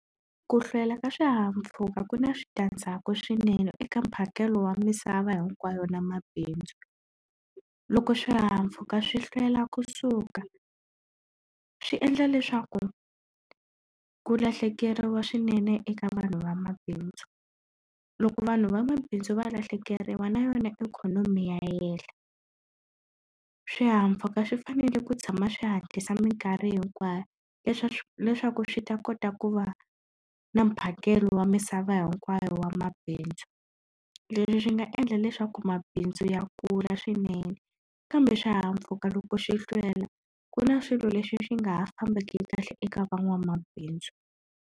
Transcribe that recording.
Ku hlwela ka swihahampfhuka ku na switandzhaku swinene eka mphakelo wa misava hinkwayo na mabindzu loko swihahampfhuka swi hlwela kusuka swi endla leswaku ku lahlekeriwa swinene eka vanhu vamabindzu loko vanhu vamabindzu va lahlekeriwa na yona ikhonomi ya yehla swihahampfhuka swi fanele ku tshama swi hatlisa minkarhi hinkwayo leswaku swi ta kota ku va na mphakelo wa misava hinkwayo wa mabindzu leswi swi nga endla leswaku mabindzu ya kula swinene kambe swihahampfhuka loko swi hlwela ku na swilo leswi swi nga ha fambeki kahle eka van'wamabindzu.